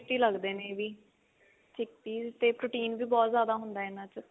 tasty ਲੱਗਦੇ ਨੇ ਇਹ ਵੀ chickpea ਤੇ protein ਵੀ ਬਹੁਤ ਜਿਆਦਾ ਹੁੰਦਾ ਇਹਨਾ ਚ